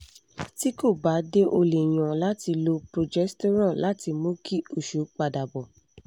tí kò bá dé o lè yan láti lo progesterone láti mú kí oṣù padà bọ̀